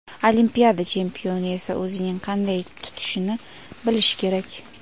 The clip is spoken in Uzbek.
Olimpiada chempioni esa o‘zini qanday tutishni bilishi kerak.